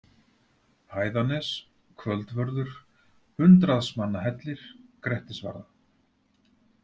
Hæðanes, Kvöldvörður, Hundraðsmannahellir, Grettisvarða